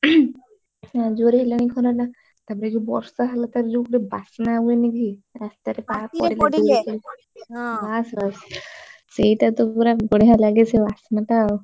ଆଉ ଜୋରେ ହେଲାଣି ଖରା ଟା ତାପରେ ଯଉ ବର୍ଷା ହେଲା ତାର ଯଉ ଗୋଟେ ବାସ୍ନା ହୁଏ ନି କି ରାସ୍ତାରେ ସେଇଟା ତ ପୁରା ବଡିଆ ଲାଗେ ସେ ବାସ୍ନା ଟା ଆଉ।